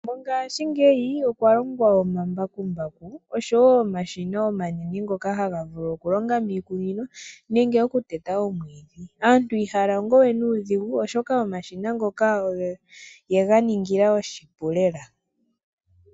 Mongashiingeyi okwa longwa omambakumbaku oshowo omashina omanene ngoka haga vulu okulonga miikunino nenge oku teta omwiidhi aantu ihaya longo we nuudhigu oshoka omashina ngoka ye ga ningila oshipu lela.